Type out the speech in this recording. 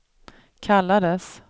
kallades